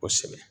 Kosɛbɛ